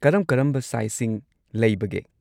ꯀꯔꯝ-ꯀꯔꯝꯕ ꯁꯥꯏꯖꯁꯤꯡ ꯂꯩꯕꯒꯦ?